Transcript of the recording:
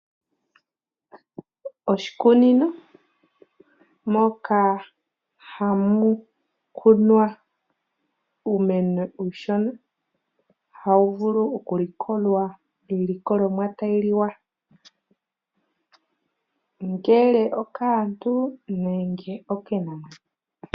Moshikunino moka hamu kunwa uumeno uushona, hamu vulu okulikolwa iilikolomwa tayi liwa ngele okaantu nenge okiinamwenyo.